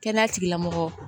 Kɛnɛya tigilamɔgɔ